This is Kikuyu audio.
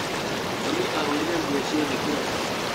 Mami ahũrire nguo ciothe kĩroko.